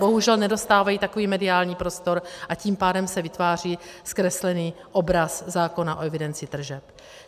Bohužel nedostávají takový mediální prostor, a tím pádem se vytváří zkreslený obraz zákona o evidenci tržeb.